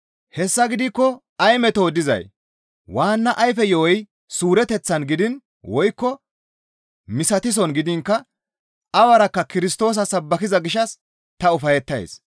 Hessa gidikko ay metoo dizay! Waanna ayfe yo7oy suureteththan gidiin woykko misatisson gidiinkka awarakka Kirstoosa sabbakiza gishshas ta ufayettays.